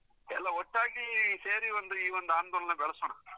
ಎಲ್ಲ ಒಟ್ಟಾಗಿ ಸೇರಿ ಒಂದು ಈ ಒಂದು ಆಂದೋಲನ ಬೆಳೆಸೋಣ.